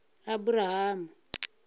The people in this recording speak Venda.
aburahamu